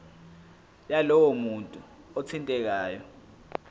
yalowo muntu othintekayo